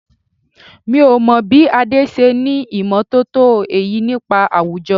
Mi ò mọ̀ bí Adé ṣe ní ìmọ̀ tótó èyí nípa àwùjọ.